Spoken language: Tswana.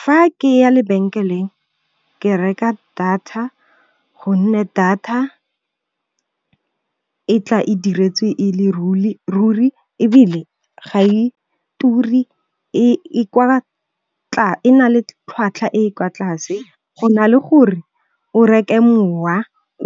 Fa ke ya lebenkeleng ke reka data gonne data e tla e diretswe e le ruri ebile, ga e turi e na le tlhwatlhwa e kwa tlase go na le gore o reke mowa